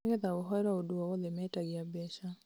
nĩgetha ũhoerwo ũndũ o wothe, metagia mbeca